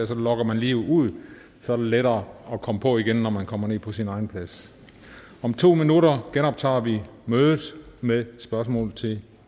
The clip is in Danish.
der logger man lige ud så er det lettere at komme på igen når man kommer ned på sin egen plads om to minutter genoptager vi mødet med spørgsmål til